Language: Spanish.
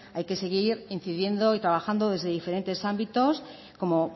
hay que seguir incidiendo y trabajando desde diferentes ámbitos como